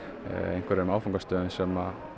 einhverjum áfangastöðum sem